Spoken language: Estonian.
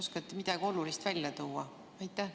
Oskate te midagi olulist välja tuua?